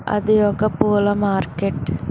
అది ఒక పూల మార్కెట్ .